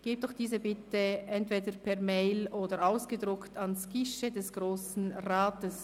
Geben Sie doch diese bitte entweder per E-Mail oder ausgedruckt dem Guichet des Grossen Rats.